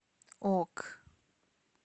ок